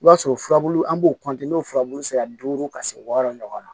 I b'a sɔrɔ furabulu an b'o n'o furabulu sera duuru ka se wɔɔrɔ ɲɔgɔn na